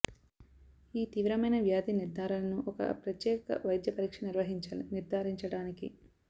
ఈ తీవ్రమైన వ్యాధి నిర్ధారణను ఒక ప్రత్యేక వైద్య పరీక్ష నిర్వహించాలి నిర్ధారించడానికి